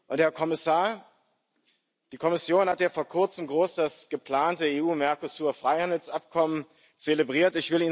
Und, Herr Kommissar, die Kommission hat ja vor Kurzem groß das geplante EU Mercosur Freihandelsabkommen zelebriert.